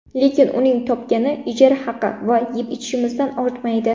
Lekin uning topgani ijara haqi va yeb-ichishimizdan ortmaydi.